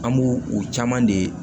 An b'o o caman de